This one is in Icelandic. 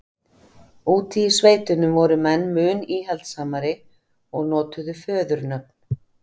Úti í sveitunum voru menn mun íhaldssamari og notuðu föðurnöfn.